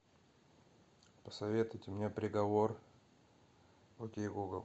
посоветуйте мне приговор окей гугл